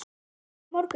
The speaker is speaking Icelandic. Komdu á morgun.